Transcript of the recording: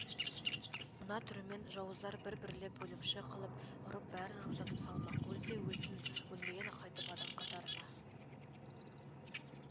мына түрімен жауыздар бір-бірлеп өлімші қылып ұрып бәрін жусатып салмақ өлсе өлсін өлмеген қайтып адам қатарына